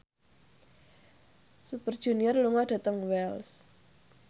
Super Junior lunga dhateng Wells